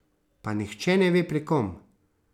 Pa nihče ne ve, pri kom.